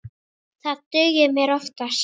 Það dugir mér oftast.